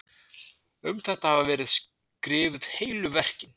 Um þetta hafa verið skrifuð heilu verkin.